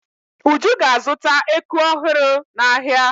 Uju ga-azụta eku ọhụrụ n'ahịa.